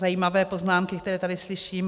Zajímavé poznámky, které tady slyším.